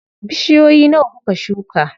Bishiyoyi nawa kuka shuka?